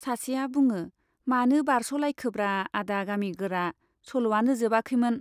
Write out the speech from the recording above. सासेआ बुङो , मानो बारस लायखोब्रा आदा गामि गोरा , सल'वानो जोबाखैमोन।